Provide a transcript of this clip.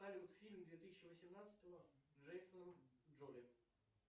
салют фильм две тысячи восемнадцатого с джейсоном джоли